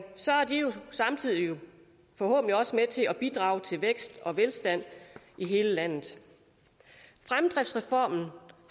samtidig forhåbentlig også med til at bidrage til vækst og velstand i hele landet fremdriftsreformen